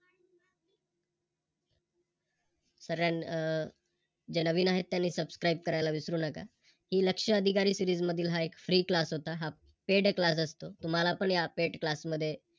हम्म जे नवीन आहे त्यांनी Subscribe करायला विसरू नका. ही लक्ष अधिकारी सिरीज मधील हा एक Free class होता, हा Paid class असतो. तुम्हाला पण या Paid class मध्ये